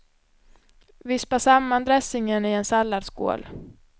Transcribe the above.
Vispa samman dressingen i en salladsskål.